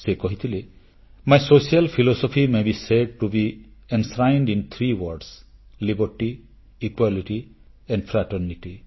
ସେ କହିଥିଲେ my social philosophy may be said to be enshrined in three words liberty equality and fraternity